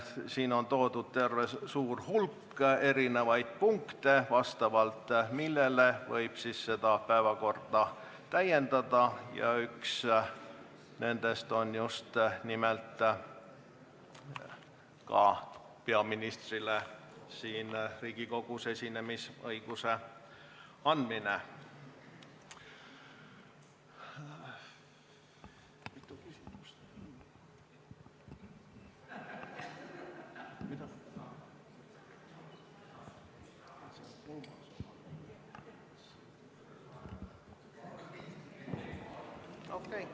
Siin on toodud terve hulk erisuguseid punkte, vastavalt millele võib päevakorda täiendada, ja üks nendest punktidest on just nimelt peaministrile Riigikogus esinemisõiguse andmine.